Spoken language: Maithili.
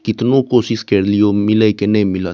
कितनो कोशिश केर लियो मिलय के ने मिलएत।